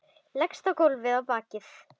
Leggst á gólfið á bakið.